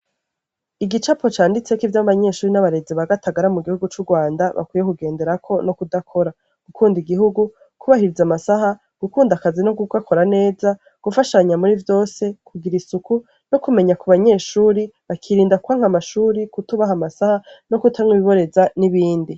Igipapuro gicatseko ivyo abanyeshure n'abaherezi ba Gatagara mu gihugu c'u Rwanda bakwiye kugenderako no kudakora. Gukunda igihugu, kwubahiriza amasaha, gukunda akazi no kugakora neza. Gufashanya muri vyose. Kugira isuku. No kumenya ku banyeshure, bakirinda kwanka ishuri no kwubaha amasaha no kutanywa ibinoreza n'ibindi.